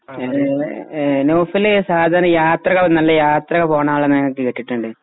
നൗഫല് സാദാരണ യാത്രകൾ നല്ല യാത്രകൾ പോകുന്നളാണന്നു കേട്ടിട്ടുണ്ട്